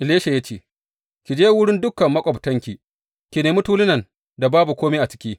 Elisha ya ce, Ki je wurin dukan maƙwabtanki, ki nemi tulunan da babu kome a ciki.